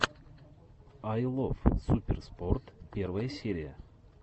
ай лов суперспорт первая серия